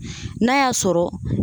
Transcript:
N'a y'a sɔrɔ